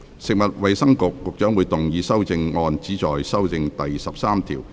食物及衞生局局長會動議修正案，旨在修正第13條。